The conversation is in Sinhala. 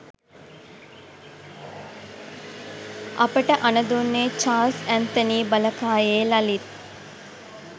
අපට අණ දුන්නේ චාල්ස් ඇත්නතී බලකායේ ලලිත්